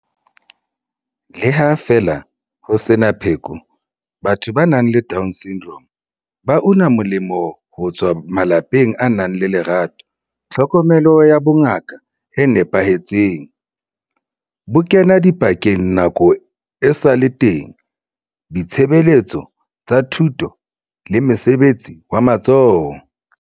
Le ha feela ho sena pheko, batho ba nang le DS ba una molemo ho tswa malapeng a nang le lerato, tlhokomelo ya bongaka e nepahetseng, bokenadipakeng nako esale teng, ditshebeletso tsa thuto le mosebetsi wa matsoho.